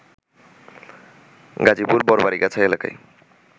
গাজীপুর বড়বাড়িগাছা এলাকায়